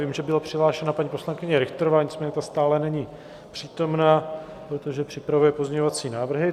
Vím, že byla přihlášena paní poslankyně Richterová, nicméně ta stále není přítomna, protože připravuje pozměňovací návrhy.